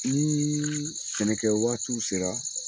Nii sɛnɛ kɛ waatiw sera